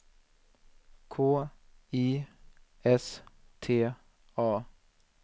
K I S T A